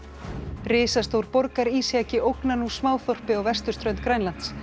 risastór borgarísjaki ógnar nú á vesturströnd Grænlands